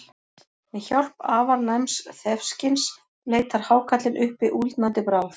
Með hjálp afar næms þefskyns leitar hákarlinn uppi úldnandi bráð.